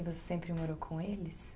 E você sempre morou com eles?